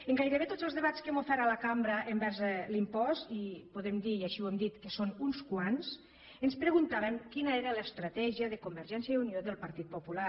en gairebé tots els debats que hem ofert a la cambra envers l’impost i podem dir i així ho hem dit que són uns quants ens preguntàvem quina era l’estratègia de convergència i unió i del partit popular